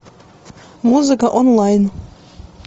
музыка онлайн